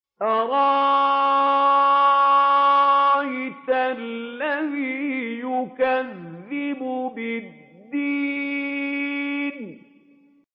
أَرَأَيْتَ الَّذِي يُكَذِّبُ بِالدِّينِ